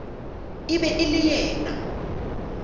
e be e le yena